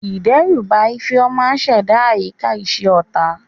Ìdẹ́rùbà Ifeoma ṣẹ̀dá àyíká iṣẹ́ ọ̀tá.